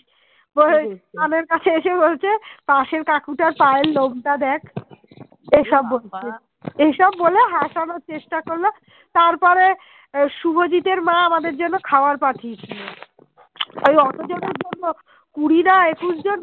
এসব বলে হাসানর চেষ্টা করল তারপরে শুভজিতের মা আমাদের জন্যে খাবার পাঠিয়েছিল ওই অতজনের জন্যে কুড়ি না একুশ জন